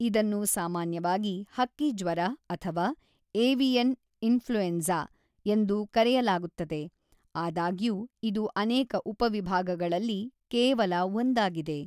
ಇದನ್ನು ಸಾಮಾನ್ಯವಾಗಿ "ಹಕ್ಕಿ ಜ್ವರ" ಅಥವಾ "ಏವಿಯನ್ ಇನ್ಫ್ಲುಯೆನ್ಸ" ಎಂದು ಕರೆಯಲಾಗುತ್ತದೆ, ಆದಾಗ್ಯೂ ಇದು ಅನೇಕ ಉಪವಿಭಾಗಗಳಲ್ಲಿ ಕೇವಲ ಒಂದಾಗಿದೆ.